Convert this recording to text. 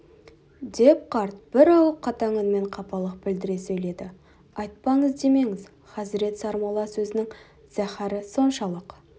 деп қарт бір ауық қатаң үнмен қапалық білдіре сөйледі айтпады демеңіз хазірет сармолла сөзінің зәһары соншалық